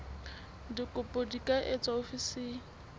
dikopo di ka etswa ofising